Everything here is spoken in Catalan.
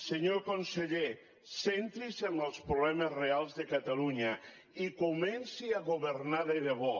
senyor conseller centri’s en els problemes reals de catalunya i comenci a governar de debò